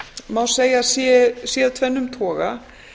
má segja að sé af tvennum toga